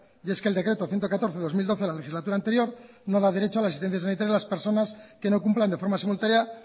y es que el decreto ciento catorce barra dos mil doce de la legislatura anterior no da derecho a la asistencia sanitaria de las personas que no cumplan de forma simultánea